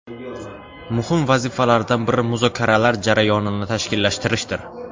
Muhim vazifalardan biri muzokaralar jarayonini tashkillashtirishdir.